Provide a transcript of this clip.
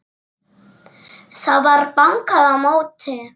Það var bankað á móti.